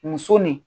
Muso ni